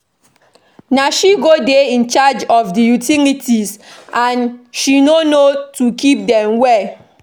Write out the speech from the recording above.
Na she go dey in charge of the utilities and she no how to keep dem well